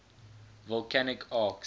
volcanic arcs